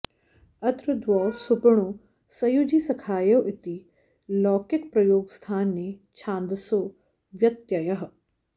अत्र द्वौ सुपणो सयुजी सखायो इति लौकिकप्रयोगस्थाने छान्दसो व्यत्ययः